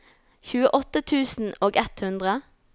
tjueåtte tusen og ett hundre